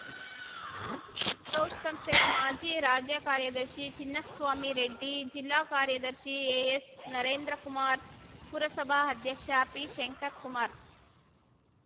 scout ಸಂಸ್ಥೆಯ ಮಾಜಿ ರಾಜ್ಯ ಕಾರ್ಯದರ್ಶಿ ಚಿನ್ನಸ್ವಾಮಿರೆಡ್ಡಿ ಜಿಲ್ಲಾ ಕಾರ್ಯದರ್ಶಿ ಎಎಸ್ನರೇಂದ್ರ ಕುಮಾರ್ ಪುರಸಭಾ ಅಧ್ಯಕ್ಷ ಪಿಶಂಕರ್ ಕುಮಾರ್